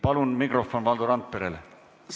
Palun mikrofon Valdo Randperele!